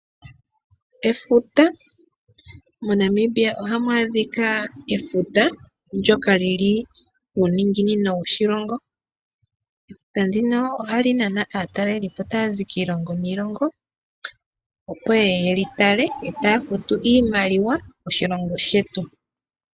Efuta, moNamibia ohamu adhika efuta ndyoka lyi li kuuninginino woshilongo. Efuta ndino ohali nana aataleli po taya zi kiilongo no kiilongo opo ye ye yeli tale yo taya futu iimaliwa oshilongo shetu.